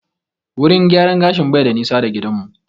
Wurin gyaran gashin bai da nisa da gidan mu